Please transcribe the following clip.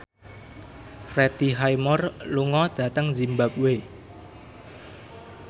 Freddie Highmore lunga dhateng zimbabwe